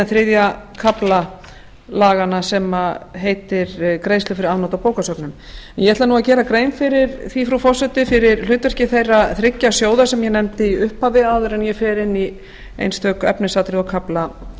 þriðja kafla laganna sem heitir greiðsla fyrir afnot af bókasöfnum ég ætla nú að gera grein frú forseti fyrir hlutverki þeirra þriggja sjóða sem ég nefndi í upphafi áður en ég fer inn í einstök efnisatriði og